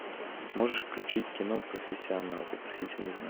можешь включить кино профессионал вопросительный знак